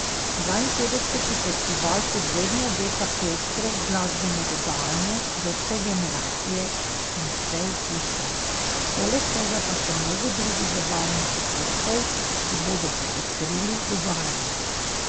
Dvainpetdeseti festival kot vedno obeta pestro glasbeno dogajanje za vse generacije in vse okuse, poleg tega pa še mnogo drugih zabavnih dogodkov, ki bodo popestrili dogajanje.